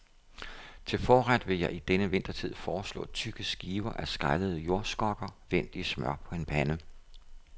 Til forret vil jeg i denne vintertid foreslå tykke skiver af skrællede jordskokker, vendt i smør på en pande.